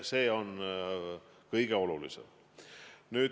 See on kõige olulisem.